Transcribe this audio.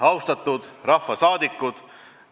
Austatud rahvasaadikud!